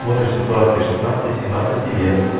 смотришь ситуации шестнадцати семнадцать лет